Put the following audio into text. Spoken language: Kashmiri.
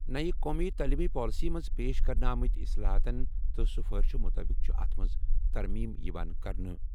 نَیہِ قومی تٔعلیٖمی پالیسی منٛز پیش کرنہٕ آمٕتۍ اصلاحاتَن تہٕ سفارشَو مُطٲبِق چھِ اتھ منٛز ترمیم یِوان کرنہٕ۔